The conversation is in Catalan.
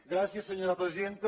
gràcies senyora presidenta